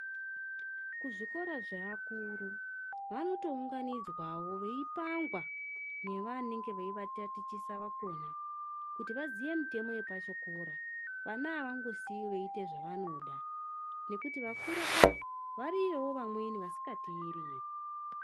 Kuzvikora zveakuru vanotounganidzwawo veipangwa nevanenge veivatatichisa vekhona kuti vaziye mitemo yepachikora. Vana avangosiyiwi veiita zvavanoda ngekuti vakura ava, variyo vamweni vasingatereri.